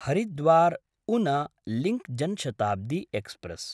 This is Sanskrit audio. हरिद्वार्–उन लिंक् जन शताब्दी एक्स्प्रेस्